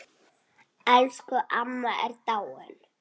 Elsku amma er dáinn.